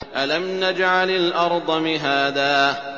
أَلَمْ نَجْعَلِ الْأَرْضَ مِهَادًا